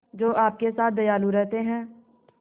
जो आपके साथ दयालु रहते हैं